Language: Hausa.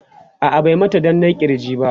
a'a bai mata danna kirji ba